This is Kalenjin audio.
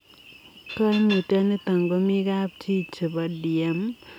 Kaimutiot nitok komii kapchii chepo DM netai ngaa makikochin gei